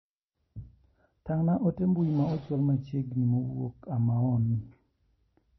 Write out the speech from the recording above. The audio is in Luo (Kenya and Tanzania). Tang'na ote mbui ma ochwal machiegni mowuok Amaon.